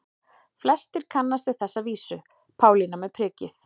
Flestir kannast við þessa vísu: Pálína með prikið